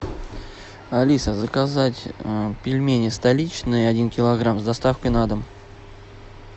алиса заказать пельмени столичные один килограмм с доставкой на дом